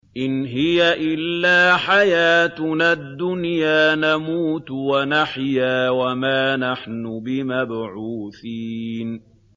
إِنْ هِيَ إِلَّا حَيَاتُنَا الدُّنْيَا نَمُوتُ وَنَحْيَا وَمَا نَحْنُ بِمَبْعُوثِينَ